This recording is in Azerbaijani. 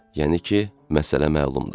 Yəni ki, məsələ məlumdur.